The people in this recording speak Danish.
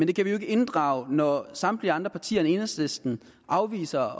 det kan vi jo ikke inddrage når samtlige andre partier end enhedslisten afviser